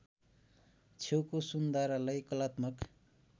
छेउको सुन्धारालाई कलात्मक